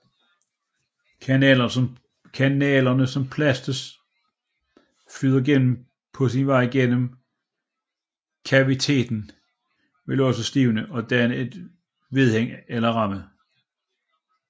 Kanalerne som plasten flyder gennem på sin vej mod kaviteten vil også stivne og danne et vedhæng eller ramme